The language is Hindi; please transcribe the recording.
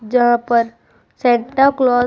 जहां पर सैंटा क्लाउस --